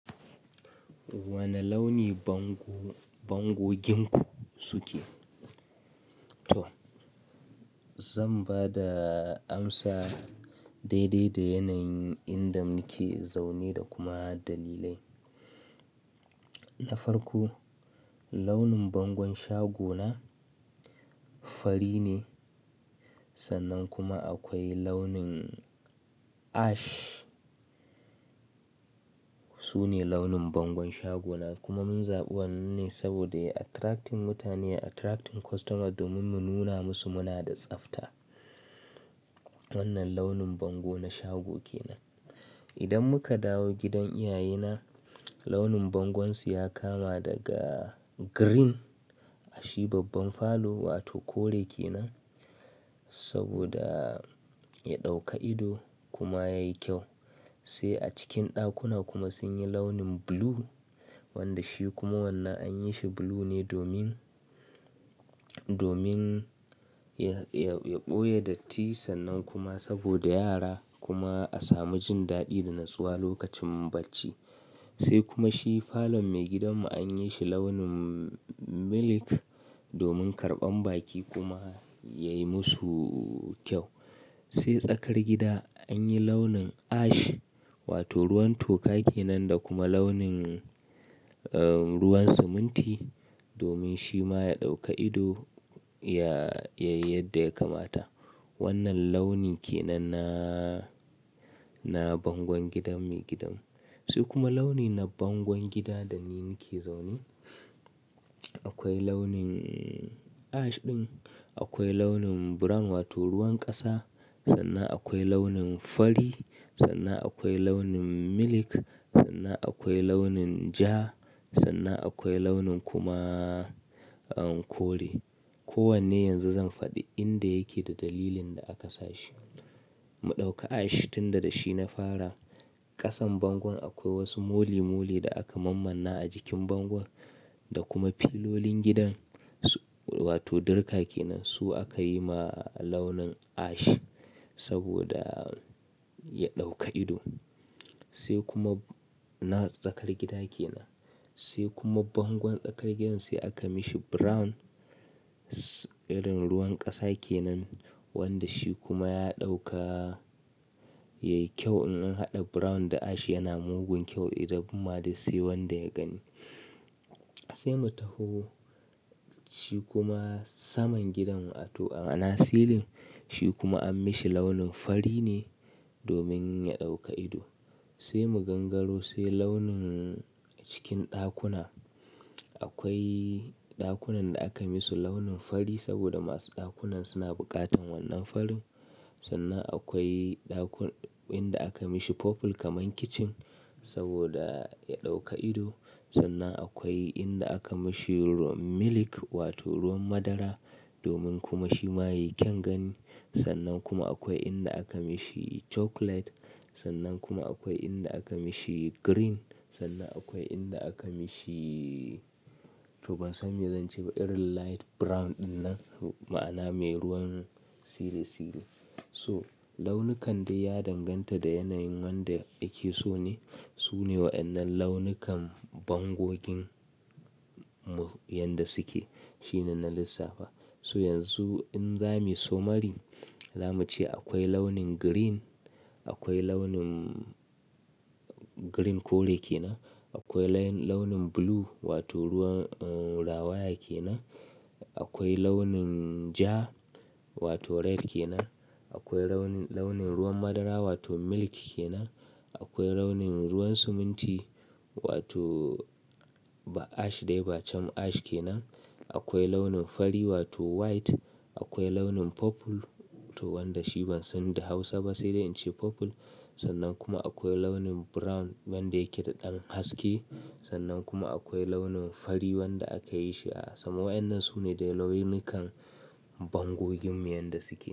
Wane launi bang-bangoginku suke? To, zan bada amsa daidai da yanayin inda muke zaune da kuma dalilai. Na farko, launin bangon shagona fari ne sannan kuma akwai launin ash. Sune launin bangon shagona kuma mun zabi wannan ne saboda attracting mutane, attracting customer domin mu nuna musu muna da tsafta. Wannan launin bango na shago ke nan. Idan muka dawo gidan iyaye na, launin bangonsu ya kama daga green, shi babban falo wato kore ke nan saboda ya ɗauka ido kuma yayi kyau. Sai a cikin ɗakuna kuma sun yi launin blue wanda shi kuma wannan anyi shi blue ne domin, domin ya, ya, ya ɓoye datti sannan kuma saboda yara kuma a samu jin daɗi da nasuwa lokacin bacci. Sai kuma shi falon maigidanmu anyi shi launin milk domin karɓan baƙi kuma yayi musu kyau. Sai tsakar gida anyi launin ash wato ruwan toka ke nan da kuma launin, eh, ruwan siminti domin shi ma ya ɗauka ido ya, ya yi yadda ya kamata. Wannan launi ke nan na, na bangon gidan maigidanmu. Sai kuma launi na bangon gida da ni nake zaune, akwai launin ash ɗin, akwai launin brown wato ruwan ƙasa, sannan akwai launin fari, sannan akwai launin milk, sannan akwai launin ja, sannan akwai launin kuma, eh, kore. Ko wanne yanzu zan faɗi inda yake da dalilin da aka sa shi. Mu ɗauka ash ɗin da da shi na fara. Ƙasan bangon akwai wasu moli-moli da aka mammana a jikin bangon da kuma fillolin gidan su, wato dirka ke nan. Su aka yi ma launin ash saboda ya ɗauka ido sai kuma na tsakar gida ke nan. Sai kuma bangon tsakar gidan sai aka mishi brown, irin ruwan ƙasa ke nan wanda shi kuma ya ɗauka, yayi kyau in an haɗa brown da ash yana mugun kyau idan kuma dai sai wanda ya gani. Sai mu taho shi kuma saman gidanmu wato, a, a na silin. Shi kuma an mishi launin fari ne domin ya ɗauka ido. Sai mu gangaro sai launin cikin ɗakuna. Akwai ɗakunan da aka misu launin fari saboda masu ɗakunan suna buƙatan wannan farin. Sannan akwai ɗakun-inda aka mishi purple kamar kitchen saboda ya ɗauka ido. Sannan akwai inda aka mishi milk wato ruwan madara domin kuma shi ma yayi kyan gani. Sannan kuma akwai inda aka mishi chocolate. Sannan kuma akwai inda aka mishi green. Sannan akwai inda aka mishi to ban san me zan ce ba, irin light brown ɗin nan ma'ana mai ruwan siri-siri. So launukan da ya danganta da yanayin wanda ake so ne. Sune waɗannan launukan bangoginmu yanda suke. Shi ne na lissafa. So yanzu in za mu yi summary, za mu ce akwai launin green, akwai launin green kore ke nan, akwai laun-launin blue wato ruwan, eh, rawaya ke nan. Akwai launin ja wato red ke nan. Akwai launin, launin ruwan madara wato milk ke nan. Akwai launin ruwan siminti wato ba ash dai ba cam ash ke nan. Akwai launin fari wato white. Akwai launin purple to wanda shi ban san da Hausa ba sai dai in ce purple. Sannan kuma akwai launin brown wanda yake da ɗan haske. Sannan kuma akwai launin fari wanda aka yi shi a sama. Waɗannan sune da launukan bangoginmu yanda suke.